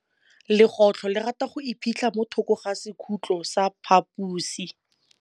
Legôtlô le rata go iphitlha mo thokô ga sekhutlo sa phaposi.